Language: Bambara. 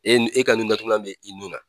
E nu,n e ka nun tugulan bɛ i nun na.